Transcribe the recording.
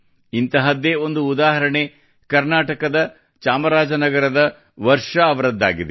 ಇಂತಹದ್ದೇ ಒಂದು ಉದಾಹರಣೆ ಕರ್ನಾಟಕದ ಚಾಮರಾಜನಗರದ ವರ್ಷಾ ಅವರದ್ದಾಗಿದೆ